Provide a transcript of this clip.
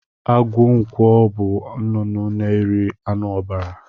Agụ ǹkwọ bú nnụnụ na eri anụ ọbara.